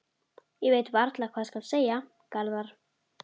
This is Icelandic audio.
Ég veit varla hvað skal segja, Garðar.